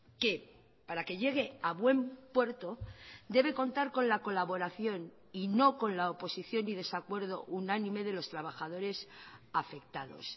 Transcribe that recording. que para que llegue a buen puerto debe contar con la colaboración y no con la oposición y desacuerdo unánime de los trabajadores afectados